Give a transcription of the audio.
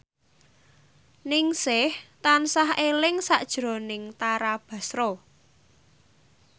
Ningsih tansah eling sakjroning Tara Basro